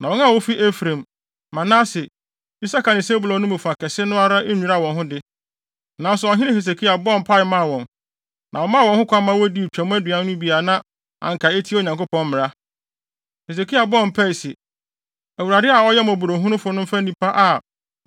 Na wɔn a wofi Efraim, Manase, Isakar ne Sebulon no mu fa kɛse no ara nnwira wɔn ho de, nanso ɔhene Hesekia bɔɔ mpae maa wɔn, na wɔmaa wɔn kwan ma wodii Twam aduan no bi a na anka etia Onyankopɔn mmara. Hesekia bɔɔ mpae se, “ Awurade a ɔyɛ mmɔborɔhunufo no mfa nnipa a